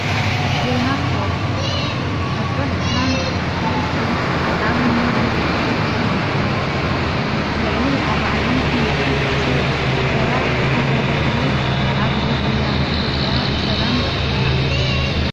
ዜና ስፖርት መበል ዕስራን ሰለስትን ዓብዪጕያ ኢትዮጵያ ልዕሊ ኣርባዓንሓሙሽተ ሰብ ሰባት ዝተሳተፍሉ ዓብዪጕያ ኢትዩጵያ ብሰላም ተጠናቂቁ።